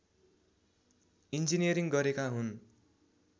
engineering गरेका हुन्